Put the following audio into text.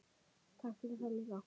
Takk fyrir það líka.